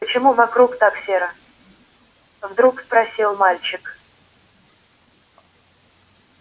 почему вокруг так серо вдруг спросил мальчик